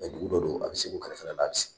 Dugu dɔ don an bɛ Segu kɛrɛfɛ la ali sisan.